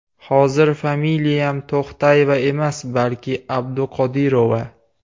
Hozir familiyam To‘xtayeva emas, balki Abduqodirova.